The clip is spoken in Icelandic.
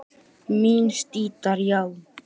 Minni sítar, já